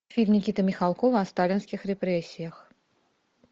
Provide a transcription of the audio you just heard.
фильм никиты михалкова о сталинских репрессиях